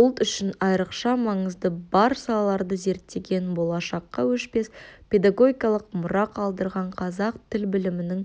ұлт үшін айрықша маңызы бар салаларды зерттеген болашаққа өшпес педагогикалық мұра қалдырған қазақ тіл білімінің